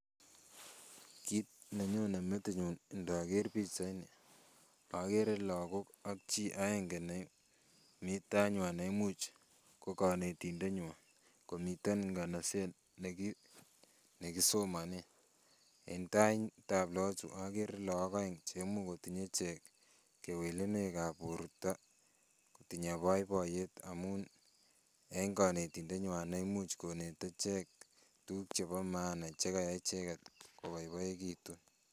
Kit nenyonye metinyun ndoger pichaini okere lagok ak chii aenge nemii tainywan neimuch kokonetindetnywan komiten nganaset nekisomonen en taitab loochu okere look oeng cheimuch kotinye ichek kewelenwekab borto kotinye boiboiyet amun en konetindet nywan neimuch konete ichek tukuk chebo maana chekayai icheket koboiboekitun